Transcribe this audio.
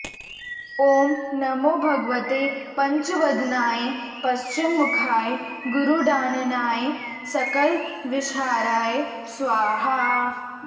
ॐ नमो भगवते पञ्चवदनाय पश्चिममुखाय गरुडाननाय सकलविषहराय स्वाहा